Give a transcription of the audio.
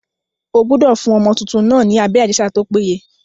Ó gbúdọ̀ fún ọmọ tuntun náà ni abẹ́rẹ́ àjẹsára tó péye.